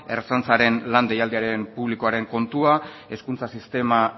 ertzaintzaren lan deialdi publikoaren kontua hezkuntza sistema